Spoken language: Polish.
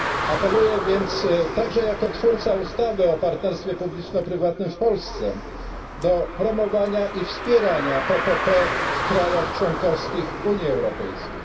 Apeluję więc także jako twórca ustawy o partnerstwie publiczno prywatnym w Polsce do promowania i wspierania PPP w państwach członkowskich Unii Europejskiej.